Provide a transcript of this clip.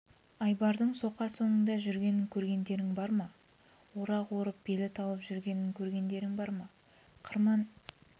айбардың соқа соңында жүргенін көргендерің бар ма орақ орып белі талып жүргенін көргендерің бар ма қырман